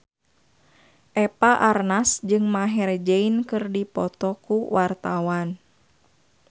Eva Arnaz jeung Maher Zein keur dipoto ku wartawan